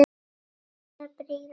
Fánar prýða bæinn.